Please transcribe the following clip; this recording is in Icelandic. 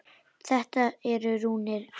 Þetta eru rúnir.